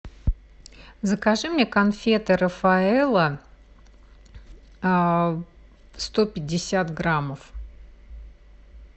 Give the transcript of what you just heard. закажи мне конфеты рафаэлло сто пятьдесят граммов